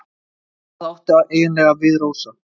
Hvað áttu eiginlega við, Rósa?